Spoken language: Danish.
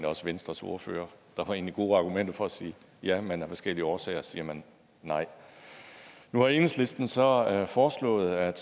også venstres ordfører der var egentlig gode argumenter for at sige ja men af forskellige årsager siger man nej nu har enhedslisten så foreslået at